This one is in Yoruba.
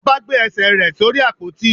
Oba gbe ẹ́sè re sorí ápotí.